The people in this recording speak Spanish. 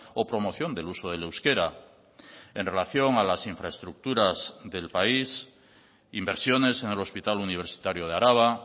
o promoción del uso del euskera en relación a las infraestructuras del país inversiones en el hospital universitario de araba